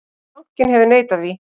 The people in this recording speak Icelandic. Bankinn hefur neitað því.